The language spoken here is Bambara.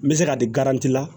N bɛ se ka di la